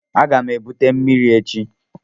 Aga m ebute mmiri echi.